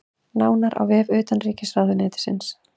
Nánar á vef utanríkisráðuneytisins